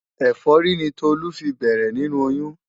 Ẹ̀fọ́rí ni Tolú fi bẹ̀rẹ̀ nínú oyún.